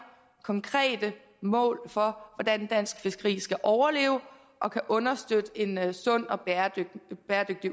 konkrete mål for hvordan dansk fiskeri skal overleve og kan understøtte en sund og bæredygtig